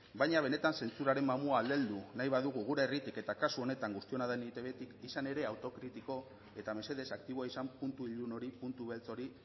baina benetan zentsuraren mamua aldendu nahi badugu gure herritik eta kasu honetan guztiona den eitbtik izan ere autokritiko eta mesedez aktiboa izan puntu ilun hori puntu beltz hori